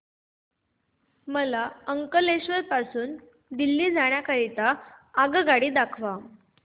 मला अंकलेश्वर पासून दिल्ली जाण्या करीता आगगाडी दाखवा